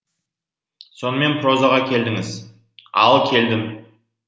сонымен прозаға келдіңіз ал келдім